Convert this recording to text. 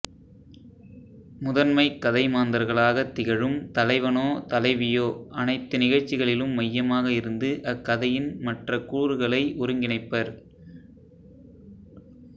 முதன்மை கதைமாந்தர்களாகத் திகழும் தலைவனோதலைவியோ அனைத்து நிகழ்ச்சிகளிலும் மையமாக இருந்து அக்கதையின் மற்றக் கூறுகளை ஒருங்கிணைப்பர்